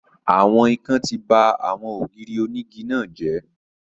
Àwọn ikán ti ba àwọn ògiri onígi náà jẹ́